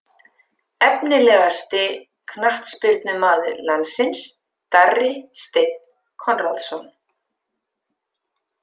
Efnilegasti knattspyrnumaður landsins: Darri steinn konráðsson